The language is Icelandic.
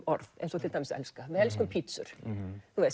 orð eins og til dæmis elska við elskum pizzur